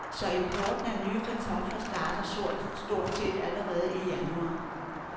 Så importen af nye kartofler starter stort set allerede i januar.